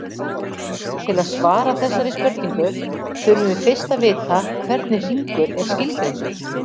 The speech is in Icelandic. Til að svara þessari spurningu þurfum við fyrst að vita hvernig hringur er skilgreindur.